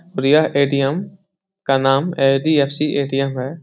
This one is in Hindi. और यह ए.टी.एम. का नाम एच.डी.एफ.सी. ए.टी.एम. है।